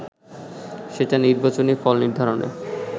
সেটা নির্বাচনী ফল নির্ধারণে